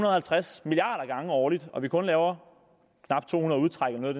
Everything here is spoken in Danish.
og halvtreds milliarder gange årligt og vi kun laver knap to hundrede udtræk eller noget